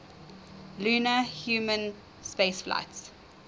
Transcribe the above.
lunar human spaceflights